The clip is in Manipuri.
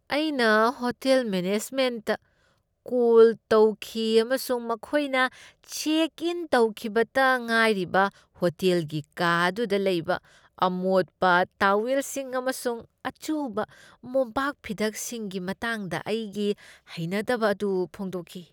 ꯑꯩꯅ ꯍꯣꯇꯦꯜ ꯃꯦꯅꯦꯖꯃꯦꯟꯠꯇ ꯀꯣꯜ ꯇꯧꯈꯤ ꯑꯃꯁꯨꯡ ꯑꯩꯈꯣꯏꯅ ꯆꯦꯛ ꯏꯟ ꯇꯧꯈꯤꯕꯇ ꯉꯥꯏꯔꯤꯕ ꯍꯣꯇꯦꯜꯒꯤ ꯀꯥ ꯑꯗꯨꯗ ꯂꯩꯕ ꯑꯃꯣꯠꯄ ꯇꯋꯦꯜꯁꯤꯡ ꯑꯃꯁꯨꯡ ꯑꯆꯨꯕ ꯃꯣꯝꯄꯥꯛꯐꯤꯗꯛꯁꯤꯡꯒꯤ ꯃꯇꯥꯡꯗ ꯑꯩꯒꯤ ꯍꯩꯅꯗꯕ ꯑꯗꯨ ꯐꯣꯡꯗꯣꯛꯈꯤ꯫